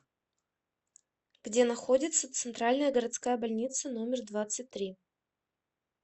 где находится центральная городская больница номер двадцать три